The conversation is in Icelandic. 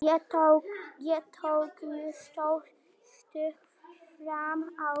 Ég tók mjög stórt stökk fram á við.